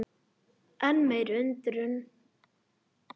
Enn meiri undrun